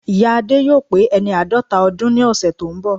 Ìya Adé yóò pé ẹni àádọ́ta ọdún ní ọ̀sẹ̀ tó ń bọ̀